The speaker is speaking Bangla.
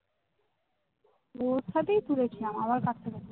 ওর সাথেই তুলেছিলাম আমার